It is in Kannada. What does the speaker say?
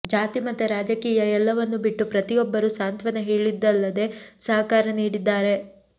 ಜಾತಿ ಮತ ರಾಜಕೀಯ ಎಲ್ಲವನ್ನು ಬಿಟ್ಟು ಪ್ರತಿಯೊಬ್ಬರೂ ಸಾಂತ್ವನ ಹೇಳಿದ್ದಲ್ಲದೆ ಸಹಕಾರ ನೀಡಿದ್ದಾರೆ